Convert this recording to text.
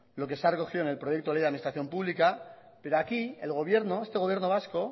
lo que se ha recogido en el proyecto de ley de administración pública pero aquí el gobierno este gobierno vasco